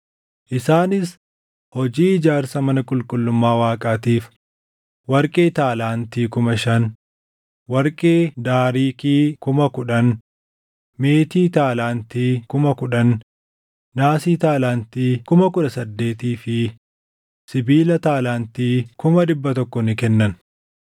Isaanis hojii ijaarsa mana qulqullummaa Waaqaatiif warqee taalaantii kuma shan, warqee daariikii kuma kudhan, meetii taalaantii kuma kudhan, naasii taalaantii kuma kudha saddeetii fi sibiila taalaantii kuma dhibba tokko ni kennan.